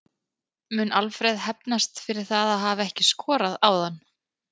Mun Alfreð hefnast fyrir það að hafa ekki skorað áðan?